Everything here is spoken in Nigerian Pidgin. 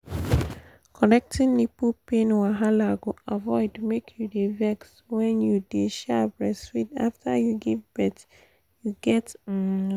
correcting nipple pain wahala go avoid make you dey vex when you dey um breastfeed after you give birth you get um wait